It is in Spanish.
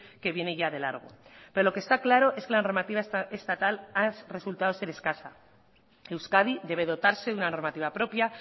que viene ya de largo pero lo que está claro es que la normativa estatal ha resultado ser escasa euskadi debe dotarse de una normativa propia